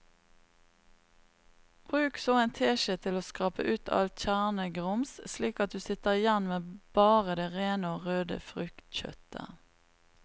Bruk så en teskje til å skrape ut alt kjernegrums slik at du sitter igjen med bare det rene og røde fruktkjøttet.